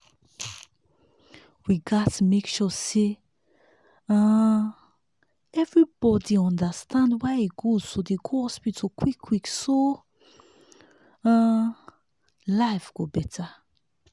we gats make sure say um everybody understand why e good to dey go hospital quick quick so um life go better.